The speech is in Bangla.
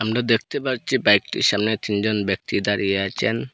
আমরা দেখতে পাচ্ছি বাইকটির সামনে তিনজন ব্যক্তি দাঁড়িয়ে আছেন।